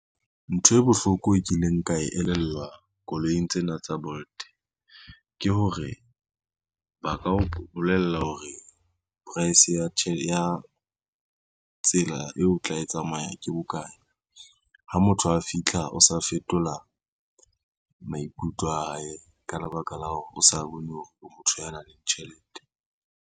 Ntho e bohloko e kileng ka e elellwa koloing tsena tsa Bolt, ke hore ba ka o bolella hore price ya tsela eo o tla e tsamaya ke bokae, ha motho a fitlha o sa fetola maikutlo a hae ka lebaka la hore o sa bone hore o motho ya nang le tjhelete.